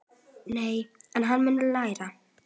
Nei, en hann mun læra.